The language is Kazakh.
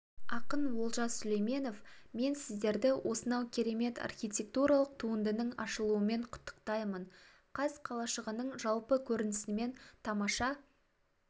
ақын олжас сүлейменов мен сіздерді осынау керемет архитектуралық туындының ашылуымен құттықтаймын қаз қалашығының жалпы көрінісімен тамаша